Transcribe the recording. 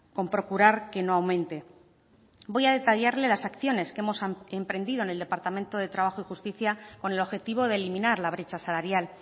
con procurar que no aumente voy a detallarle las acciones que hemos emprendido en el departamento de trabajo y justicia con el objetivo de eliminar la brecha salarial